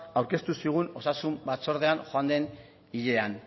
aurkeztu zigun osasun batzordean joan den hilean